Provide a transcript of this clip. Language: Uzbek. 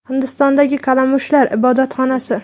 Hindistondagi kalamushlar ibodatxonasi.